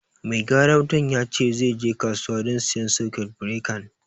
Mai gyaran wutan ya ce zai je kasuwa don siyan sakut birekan